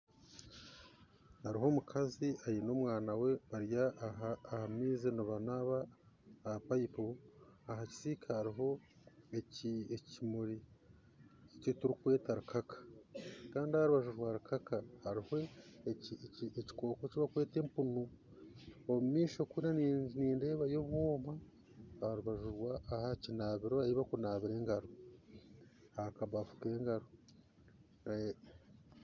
Hariho omukazi aine omwana we bari aha maizi nibanaba aha payipu ahakisiika hariho ekimuri eki barikweta rukaka Kandi aha rubaju rwa rukaka hariho ekikooko eki barikweta empunu omu maisho kuri nindeebaho obwoma aha kabafu kokunaabira engaro